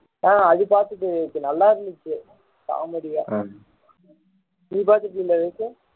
அது பாத்துட்டேன் விவேக் நல்லா இருந்துச்சு comedy யா நீ பாத்துட்டே இல்ல விவேக்